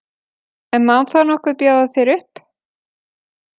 En má þá nokkuð bjóða þér upp?